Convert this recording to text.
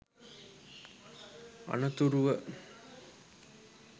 අනතුරුව